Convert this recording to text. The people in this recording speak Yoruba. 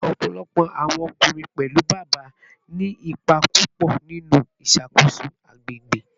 Ọpọlọpọ awọn ọkunrin, pẹlu Baba, ni ipa pupọ ninu iṣakoso agbegbe